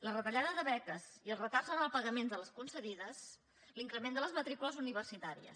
la retallada de beques i els retards en el pagament de les concedides l’increment de les matricules universitàries